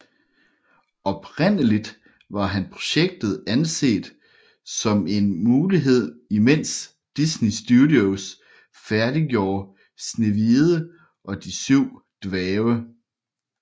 Oprindeligt var projektet anset som en mulighed imens Disney Studios færdiggjorde Snehvide og de syv dværge